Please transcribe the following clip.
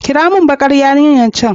kirawo min bakar yarinyar can